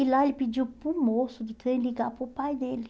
E lá ele pediu para o moço de trem ligar para o pai dele.